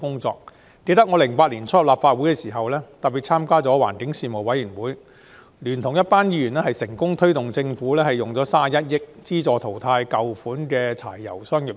我記得2008年年初加入立法會時，參加了環境事務委員會，聯同一群議員成功促使政府撥款31億元，資助淘汰舊款柴油商業車。